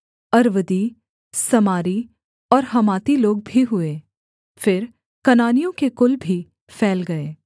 अर्वदी समारी और हमाती लोग भी हुए फिर कनानियों के कुल भी फैल गए